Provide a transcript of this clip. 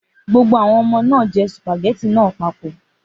Gbogbo àwọn ọmọ náà jẹ́ sùpàgẹ́tì náà papọ̀.